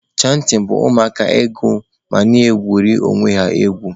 Chantịn bụ ụmụaka ịgụ ma na-ekwere onwe ha egwu.